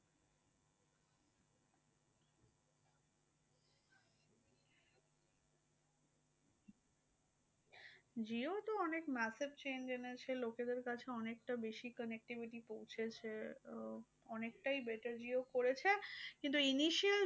jio তো অনেক massive change এনেছে। লোকেদের কাছে অনেকটা বেশি connectivity পৌঁছেছে। তো অনেকটাই betterjio করেছে। কিন্তু